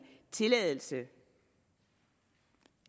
tilladelse